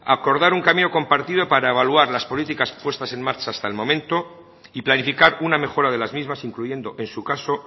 acordar un camino compartido para evaluar las políticas puestas en marcha hasta el momento y planificar una mejora de las mismas incluyendo en su caso